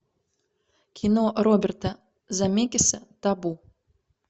кино роберта земекиса табу